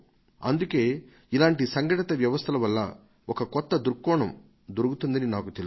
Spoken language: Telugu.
అందుకే ఇలాంటి సంఘటిత వ్యవస్థల వల్ల ఒక కొత్త దృష్టికోణం దొరుకుతుందని నాకు తెలుసు